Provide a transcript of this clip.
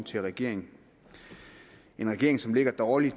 til regeringen en regering som ligger dårligt